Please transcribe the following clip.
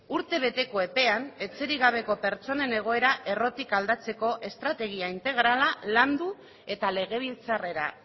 urtebeteko epean etxerik gabeko pertsonen egoera errotik aldatzeko estrategia integrala landu eta legebiltzarrera